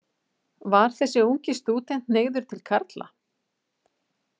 Var þessi ungi stúdent hneigður til karla?